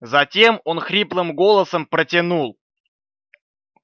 затем он хриплым голосом протянул